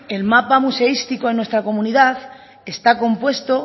el mapa museístico en nuestra comunidad está compuesto